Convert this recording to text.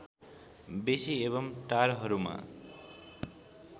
बेसी एवं टारहरूमा